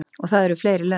Og það eru fleiri lönd.